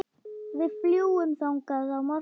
Við fljúgum þangað á morgun.